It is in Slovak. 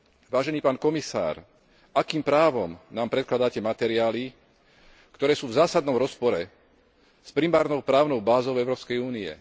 Vážený pán komisár, akým právom nám predkladáte materiály, ktoré sú v zásadnom rozpore s primárnou právnou bázou Európskej únie.